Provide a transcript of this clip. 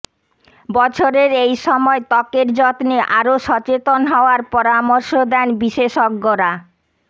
বছরের এই সময় ত্বকের যত্নে আরও সচেতন হওয়ার পরামর্শ দেন বিশেষজ্ঞরা